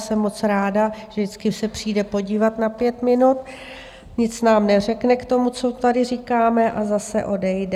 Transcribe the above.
Jsem moc ráda, že vždycky se přijde podívat na pět minut, nic nám neřekne k tomu, co tady říkáme, a zase odejde.